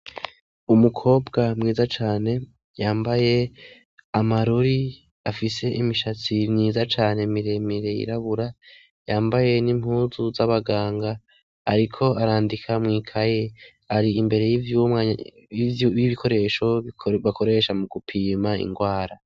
Umukobwa mwiza cane, yambaye amarori, afise imishatsi myiza cane miremire yirabura, yambaye n'impuzu z'abaganga, ariko arandika mw'ikaye. Ari imbere y'ibikoresho bakoresha mu gupima ingwara.